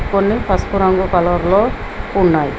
కొన్ని పసుపు రంగు కలర్లో ఉన్నయ్.